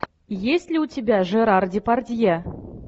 есть ли у тебя жерар депардье